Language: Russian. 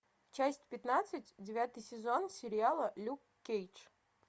часть пятнадцать девятый сезон сериала люк кейдж